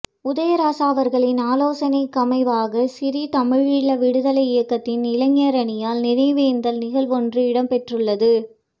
உதயராசா அவர்களின் ஆலோசனைக்கமைவாக சிறீ தமிழீழ விடுதலை இயக்கத்தின் இளைஞரணியினரால் நினைவேந்தல் நிகழ்வொன்று இடம்பெற்றுள்ளது